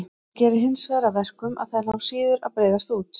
Það gerir hinsvegar að verkum að þær ná síður að breiðast út.